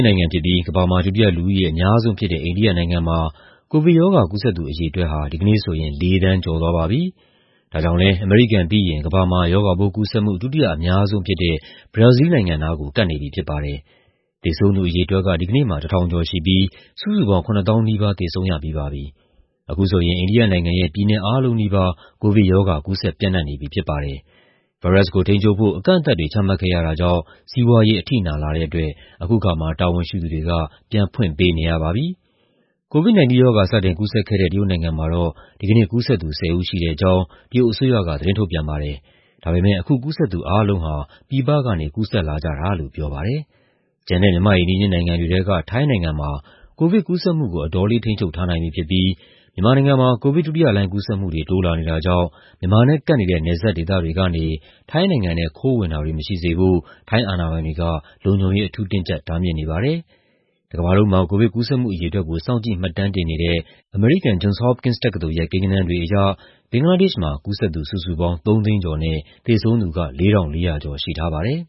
နိုင်ငံဖြစ်ပြီး ကမ္ဘာမှာ ဒုတိယ လူဦးရေအများဆုံးဖြစ်တဲ့ အိန္ဒိယနိုင်ငံမှာ ကိုဗစ်ရောဂါ ကူးစက်သူ အရေအတွက်ဟာ ဒီကနေ့ဆိုရင် ၄ သန်းကျော်သွားပါပြီ။ ဒါကြောင့်လည်း အမေရိကန်ပြီးရင် ကမ္ဘာမှာ ရောဂါပိုးကူးစက်မှု ဒုတိယအများဆုံးဖြစ်တဲ့ ဘရာဇီးလ်နိုင်ငံနားကို ကပ်နေပြီဖြစ်ပါတယ်။ သေဆုံးသူအရေအတွက်က ဒီကနေ့မှာ ၁,၀၈၉ ဦးရှိပြီး စုစုပေါင်း ၆၉,၅၆၁ ဦး သေဆုံးရပြီးပါပြီ။ အခုဆိုရင် အိန္ဒိယနိုင်ငံရဲ့ ပြည်နယ်အားလုံးနီးပါး ကိုဗစ်ရောဂါ ကူးစက်ပျံ့နှံ့နေပြီ ဖြစ်ပါတယ်။ ဗိုင်းရပ်စ်ကိုထိန်းချုပ်ဖို့ အကန့်အသတ်တွေ ချမှတ်ခဲ့ရတာကြောင့် စီးပွားရေး အထိနာလာတဲ့အတွက် အခုအခါမှာ တာဝန်ရှိသူတွေက ပြန်ဖွင့်ပေးနေရပါပြီ။ COVID-19 ရောဂါ စတင်ကူးစက်ခဲ့တဲ့ တရုတ်နိုင်ငံမှာတော့ ဒီကနေ့ ကူးစက်သူ ၁၀ ဦးရှိတဲ့အကြောင်း တရုတ်အစိုးရက သတင်းထုတ်ပြန်ပါတယ်။ ဒါပေမယ့် အခုကူးစက်သူ အားလုံးဟာ ပြည်ပကနေ ကူးစက်လာကြတာလို့ ပြောပါတယ်။ ကျန်တဲ့ မြန်မာ့အိမ်နီးချင်းနိုင်ငံတွေထဲက ထိုင်းနိုင်ငံမှာ ကိုဗစ်ကူးစက်မှုကို အတော်လေး ထိန်းချုပ်ထားနိုင်ပြီဖြစ်ပြီး မြန်မာနိုင်ငံမှာ ကိုဗစ်ဒုတိယလှိုင်း ကူးစက်မှုတွေ တိုးလာနေတာကြောင့် မြန်မာနဲ့ကပ်နေတဲ့ နယ်စပ်ဒေသတွေကနေ ထိုင်းနိုင်ငံထဲ ခိုးဝင်တာတွေ မရှိစေဖို့ ထိုင်းအာဏာပိုင်တွေက လုံခြုံရေး အထူးတင်းကျပ် တားမြစ်နေပါတယ်။ တကမ္ဘာလုံးမှာ ကိုဗစ်ကူးစက်မှု အရေအတွက်ကို စောင့်ကြည့် မှတ်တမ်းတင်နေတဲ့ အမေရိကန် Johns Hopkins တက္ကသိုလ်ရဲ့ ကိန်းဂဏန်းတွေအရ ဘင်္ဂလားဒေ့ရှ်နိုင်ငံမှာ ကူးစက်သူစုစုပေါင်း ၃ သိန်းကျော်နဲ့ သေဆုံးသူက ၄,၄၀၀ ကျော် ရှိထားပါတယ်